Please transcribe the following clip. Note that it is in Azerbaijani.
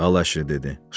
Al əşi, dedi.